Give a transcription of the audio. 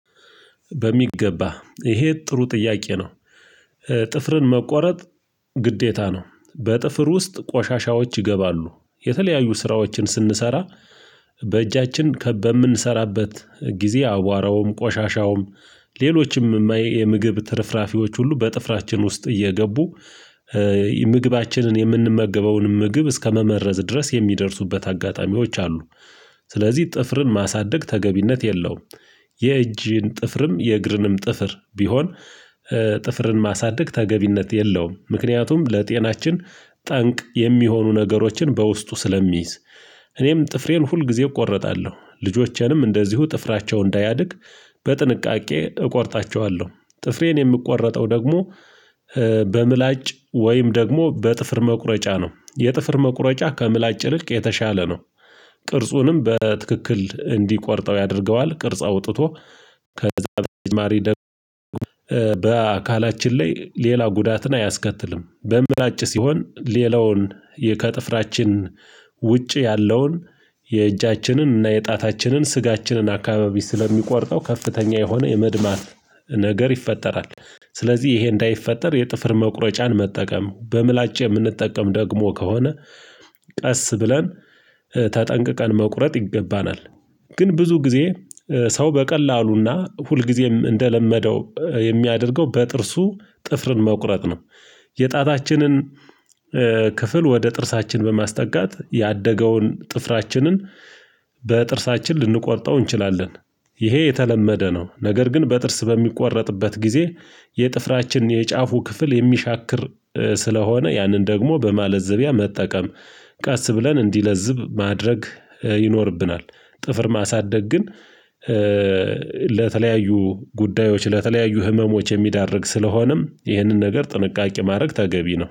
በሚገባ ይሄ ጥሩ ጥያቄ ነው። ጥፍርን መቆረጥ ግዴታ ነው። በጥፍር ውስጥ ቆሻሻዎች ይገባሉ የተለያዩ ስራዎችን ስንሰራ በእጃችን ከ በምንሰራበት ጊዜ አዋራውም፣ ቆሻሻውም ሌሎችም እማዬ የምግብ ትርፍራፊዎች ሁሉ በጥፍራችን ውስጥ እየገቡ ምግባችንን የምንመገበውንም ምግብ እስከመመረዝ ድረስ የሚደርሱበት አጋጣሚዎች አሉ። ስለዚህ ጥፍርም ማሳደግ ተገቢነት የለውም። የእጅን ጥፍርም፤ የእግርንም ጥፍር ቢሆን ጥፍርን ማሳደግ ተገቢነት የለውም። ምክንያቱም ለጤናችን ጠንቅ የሚሆኑ ነገሮችን በውስጡ ስለሚይዝ እኔም ጥፍሬን ሁልጊዜ እቆርጣለው፤ ልጆቼንም እንደዚሁ ጥፍራቸው እንዳያድግ በጥንቃቄ እቆርጣቸዋለሁ። ጥፍሬን የምቆረጠው ደግሞ በምላጭ ወይም ደግሞ በጥፍር መቁረጫ ነው። የጥፍር መቁረጫ ከምላጭ ይልቅ የተሻለ ነው። ቅርጹንም በትክክል እንዲቆርጠው ያደርገዋል ቅርጽ አውጥቶ ከዚህ በተጨማሪ ደግሞ በአካላችን ላይ ሌላ ጉዳትን አያስከትልም። በምላጭ ሲሆን ሌላውን ከጥፍራችን ውጭ ያለውን የእጃችንን እና የጣታችንን ስጋችንን አካባቢ ስለሚቆርጠው ከፍተኛ የሆነ የመድማት ነገር ይፈጠራል። ስለዚህ ይሄ እንዳይፈጠር የጥፍር መቁረጫን መጠቀም በምላጭ የምንጠቀም ደግሞ ከሆነ ቀስ ብለን ተጠንቅቀን መቁረጥ ይገባናል። ግን ብዙ ጊዜ ሰው በቀላሉና ሁልጊዜም እንደለመደው የሚያደርገው በጥርሱ ጥፍርን መቁረጥ ነው። የጣታችንን ክፍል ወደ ጥርሳችን በማስጠጋት ያደገውን ጥፍራችንን በጥርሳችን ልንቆርጠው እንችላለን። ይሄ የተለመደ ነው ነገር ግን በጥርስ በሚቆረጥበት ጊዜ የጥፍራችን የጫፉ ክፍል የሚሻክር ስለሆነ ያንን ደግሞ በማለዘቢያ መጠቀም ቀስ ብለን እንዲለዝብ ማድረግ ይኖርብናል ጥፍር ማሳደግ ግን ለተለያዩ ጉዳዮች ለተለያዩ ህመሞች የሚዳርግ ስለሆነም ይህንን ነገር ጥንቃቄ ማድረግ ተገቢ ነው።